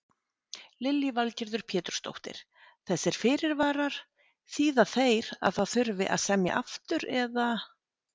Lillý Valgerður Pétursdóttir: Þessir fyrirvarar, þýða þeir að það þurfi að semja aftur eða?